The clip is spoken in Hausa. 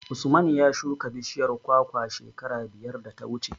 Usman ya shuka bishiyar kwakwa shekara biyar da ta wuce.